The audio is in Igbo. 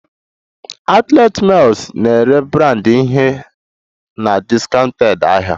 Outlet malls na-ere branded ihe na discounted ahịa